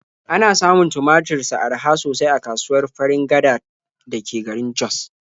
Ana samun tumatur sa araha sosai a kasuwar Farin Gada da ke garin Jos.